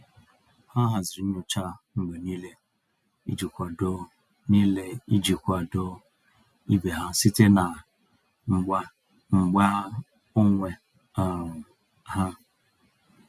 Ha haziri nyocha mgbe niile iji kwado niile iji kwado ibe ha site na mgba mgba onwe um ha.